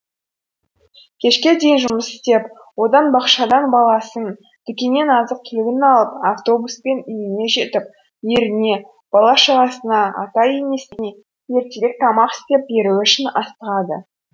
кешке дейін жұмыс істеп одан бақшадан баласын дүкеннен азық түлігін алып автобуспен үйіне жетіп еріне бала шағасына ата енесіне ертерек тамақ істеп беруі үшін асығады